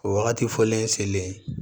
O wagati fɔlen selen